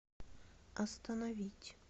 остановить